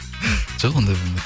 жоқ ондай болмайды